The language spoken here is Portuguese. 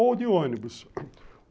Ou de ônibus.